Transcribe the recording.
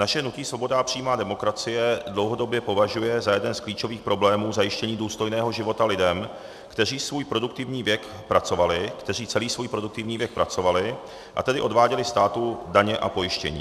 Naše hnutí Svoboda a přímá demokracie dlouhodobě považuje za jeden z klíčových problémů zajištění důstojného života lidem, kteří svůj produktivní věk pracovali, kteří celý svůj produktivní věk pracovali, a tedy odváděli státu daně a pojištění.